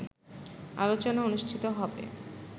আলোচনা অনুষ্ঠিত হবে